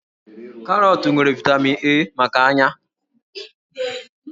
Karọọtụ nwere vaịtamin A maka ányá